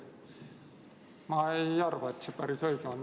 Ma ei arva, et see päris õige on.